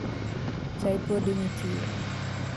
Chai pod nitie?